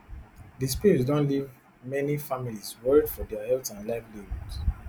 di spills don leave many families worried for dia health and livelihoods